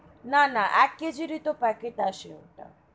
না না এক কেজির তো packet আসে ওটা.